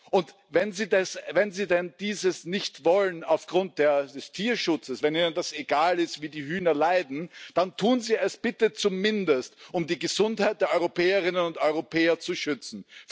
Und wenn Sie denn dieses nicht wollen aufgrund des Tierschutzes, wenn Ihnen das egal ist, wie die Hühner leiden, dann tun Sie es bitte zumindest, um die Gesundheit der Europäerinnen und Europäer zu schützen.